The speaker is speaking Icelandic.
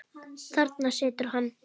Þarna situr hann.